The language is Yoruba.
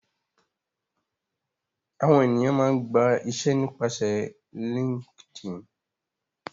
Àwọn ènìyàn máa ń gba iṣẹ́ nípasẹ̀ Linkedin